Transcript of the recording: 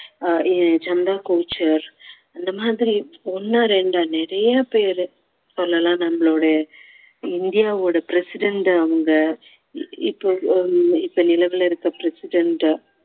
ஆஹ் ஏ~ சந்தா கோச்சர் இந்த மாதிரி ஒண்ணா ரெண்டா நிறைய பேரு சொல்லலாம் நம்மளுடைய இந்தியாவோய president அவங்க இப்போ ஹம் நிலவுல இருக்கிற president